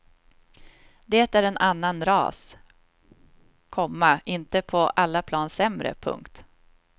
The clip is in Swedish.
De är en annan ras, komma inte på alla plan sämre. punkt